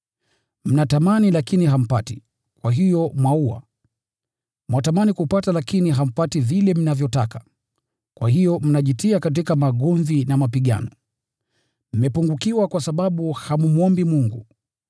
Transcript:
Mnatamani lakini hampati, kwa hiyo mwaua. Mwatamani kupata lakini hampati vile mnavyotaka, kwa hiyo mnajitia katika magomvi na mapigano. Mmepungukiwa kwa sababu hammwombi Mungu.